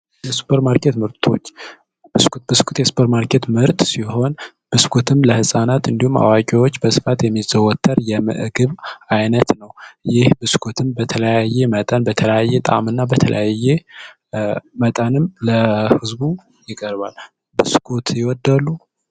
የሱፐር ማርኬት ምርቶች ብስኩት የሱፐር ማርኬት ምርት ሲሆን ብስኩት ለህፃናት እንዲሁም ለአዋቂዎች በብዛት የሚዘወትር የምግብ ዓይነት ነው ይህ ብስኩትም በተለያየ መጠን በተለያየ ጣእምና መጠንም ለህዝቡ ይቀርባል። ብስኩት ይወዳሉ?